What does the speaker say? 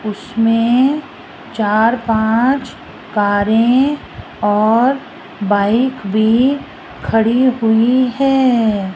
उसमें चार पांच कारें और बाइक भी खड़ी हुई है।